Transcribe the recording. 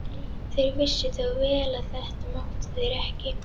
Þeir vissu þó vel að þetta máttu þeir ekki.